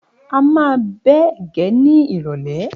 A máa bẹ ẹ̀gẹ́ ní ìrọ̀lẹ́.